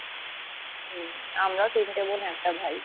আমরা তিনটে বোন একটা ভাই